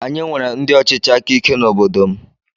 Anyị nwere ndị ọchịchị áká ike n'obodo m.